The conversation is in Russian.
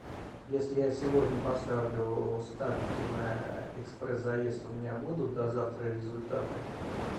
если я сегодня поставлю ставки на экспресс заезд у меня будут до завтра результаты